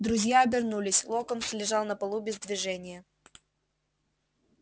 друзья обернулись локонс лежал на полу без движения